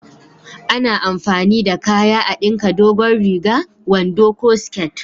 A na amfani da kaya a dinka dogon riga, wando ko siket